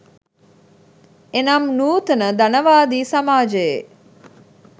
එනම් නූතන ධනවාදී සමාජයේ